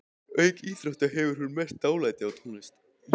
Auk íþrótta hefur hún mest dálæti á tónlist.